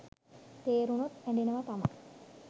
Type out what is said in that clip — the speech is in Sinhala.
තේරුණොත් ඇඬෙනවා තමා.